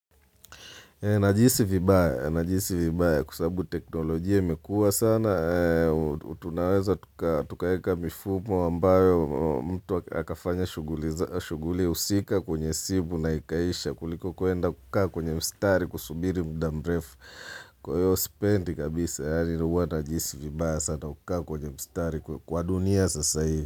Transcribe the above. Najihisi vibaya, kwa sababu teknolojia imekua sana, tunaweza tukaweka mifumo ambayo mtu akafanya shughuli husika kwenye simu na ikaisha kuliko kuenda kukaa kwenye mstari kusubiri muda mrefu. Kwa hiyo sipendi kabisa, yaani huwa najihisi vibaya sana kukaa kwenye mstari kwa dunia sasa hivi.